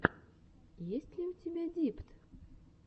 есть ли у тебя дипт